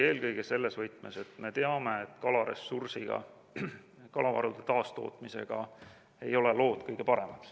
Eelkõige selles võtmes, et me teame, et kalaressursiga, kalavarude taastootmisega, ei ole lood kõige paremad.